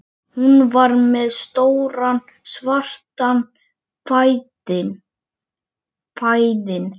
Hún var með stóran svartan fæðing